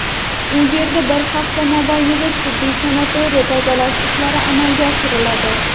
u yerda bir hafta mobaynida tibbiy-sanitariya tozalash ishlari amalga oshiriladi.